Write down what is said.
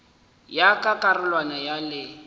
ya ka karolwana ya le